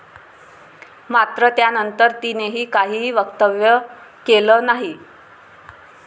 मात्र त्यानंतर तिनेही काहीही वक्तव्य केलं नाही.